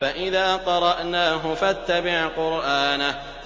فَإِذَا قَرَأْنَاهُ فَاتَّبِعْ قُرْآنَهُ